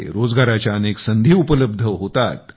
रोजगाराच्या अनेक संधी उपलब्ध होतात